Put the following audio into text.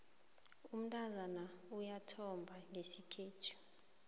umntazana uyathomba ngesikhethu